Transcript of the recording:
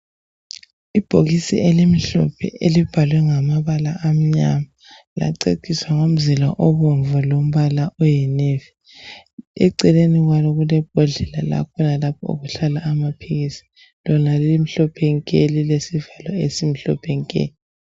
Ibhokisi elimhlophe elibhalwe ngamabala amnyama, laceciswa ngomzila obomvu lombala oyinevi. Eceleni kwalo kule bhodlela lapho ukuhlala amaphilisi, lona limhlophe nke elilesivalo esimhlophe nke.